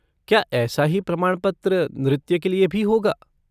क्या ऐसा ही प्रमाणपत्र नृत्य के लिए भी होगा?